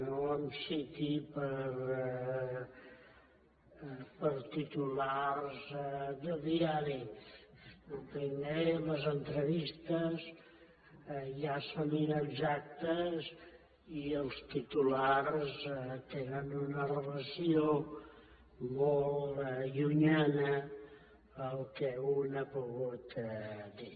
no em citi per titulars de diari el primer les entrevistes ja són inexactes i els titulars tenen una relació molt llunyana al que un ha pogut dir